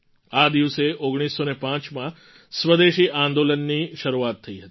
આ દિવસે ૧૯૦૫માં સ્વદેશી આંદોલનની શરૂઆત થઈ હતી